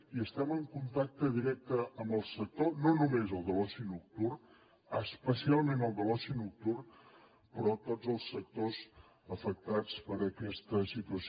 i estem en contacte directe amb el sector no només el de l’oci nocturn especialment el de l’oci nocturn sinó tots els sectors afectats per aquesta situació